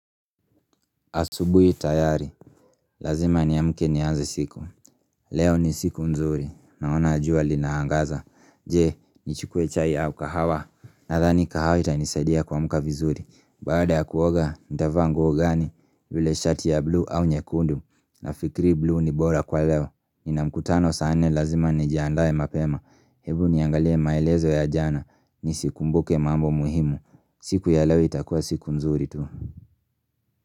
Asubuhi tayari, lazima niamke nianze siku, leo ni siku nzuri, naona jua linaangaza, je, nichukue chai au kahawa, nadhani kahawa itanisaidia kuamka vizuri, baada ya kuoga, nitavaa nguo gani, vile shati ya blue au nyekundu, nafikiri blue ni bora kwa leo, nina mkutano saa nne lazima nijiandae mapema, hebu niangalie maelezo ya jana, nisikumbuke mambo muhimu, siku ya leo itakua siku nzuri tu.